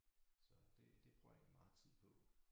Så det det bruger jeg egentlig meget tid på